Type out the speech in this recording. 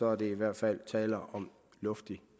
er der i hvert fald tale om luftig